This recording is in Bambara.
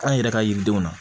An yɛrɛ ka yiridenw na